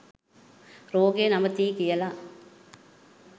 රෝගය නවතියි කියල